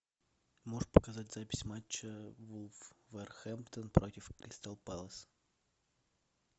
можешь показать запись матча вулверхэмптон против кристал пэлас